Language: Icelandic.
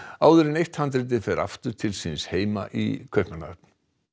áður en eitt handritið fer aftur til síns heima í Kaupmannahöfn